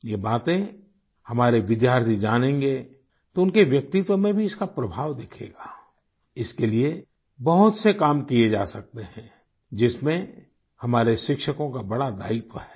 यह बातें हमारे विद्यार्थी जानेंगे तो उनके व्यक्तित्व में भी इसका प्रभाव दिखेगा इसके लिये बहुत से काम किये जा सकते हैं जिसमें हमारे शिक्षकों का बड़ा दायित्व है